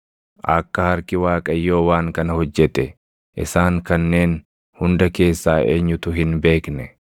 Akka harki Waaqayyoo waan kana hojjete, isaan kanneen hunda keessaa eenyutu hin beekne?